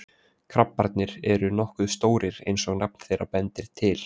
Krabbarnir eru nokkuð stórir eins og nafn þeirra bendir til.